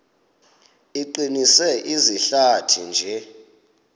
iqinise izihlathi nje